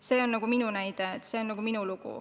See on minu näide, see on nagu minu lugu.